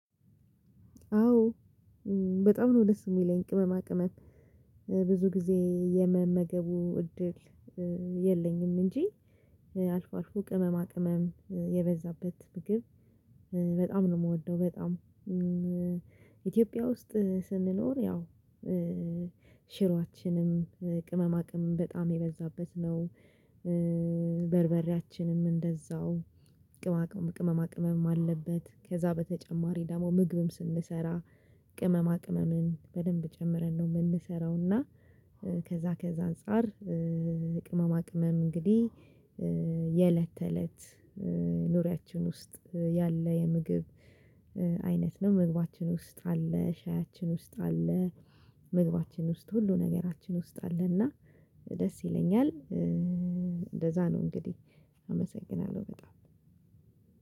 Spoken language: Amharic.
አዎ በጣም ነው ደስ የሚለኝ ቅመማ ቅመም ብዙ ጊዜ የመመገቡ እድል የለኝም እንጂ። አልፎ አልፎ ቅመማ ቅመም የበዛበት ነው የምወደው በጣም። ኢትዮጵያ ውስጥ ስንኖር ያው ሽሮአችንም ቅመማቅመም በጣም የበዛበት ነው። በርበሬያችንም እንደዛው ቅማቅም ቅመማ ቅመም አለበት ከዛ በተጨማሪ ደግሞ ምግብም ስንሰራ ቅመማ ቅመምን በደንብ ጨምረን ነው የምንሰራው። እና ከዛ ከዛ አንፃር ቅመማ ቅመም እንግዲህ የእለት ተእለት ኑሪያችን ውስጥ ያለ የምግብ አይነት ነው። መግባችን ውስጥ አለ ሻያችን ውስጥ አለ መግባችን ውስጥ ሁሉ ነገራችን ውስጥ አለና ደስ ይለኛል። እንደዛ ነው እንግዲህ አመሰግናለሁ በጣም።